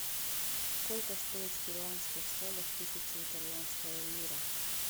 сколько стоит в перуанских солях тысяча итальянская лира